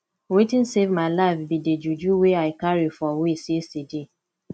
wetin save my life be the juju wey i carry for waist yesterday